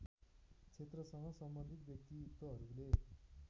क्षेत्रसँग सम्बन्धित व्यक्तित्वहरूले